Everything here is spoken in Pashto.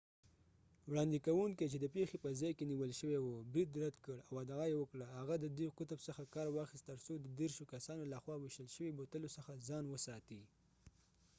وړاندې کونکی چې د پیښې په ځای کې نیول شوی و برید رد کړ او ادعا یې وکړه هغه د دې قطب څخه کار واخیست ترڅو د دیرشو کسانو لخوا ویشتل شوي بوتلو څخه ځان وساتي